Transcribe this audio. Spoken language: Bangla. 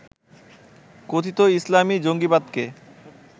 কথিত ইসলামী জঙ্গিবাদকে